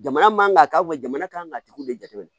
Jamana man kan ka kɛ jamana ka kan ka tigiw de jateminɛ